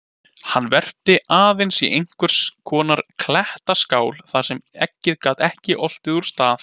Hann verpti aðeins í einhvers konar klettaskál þar sem eggið gat ekki oltið úr stað.